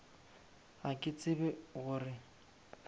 ga ke tsebe go re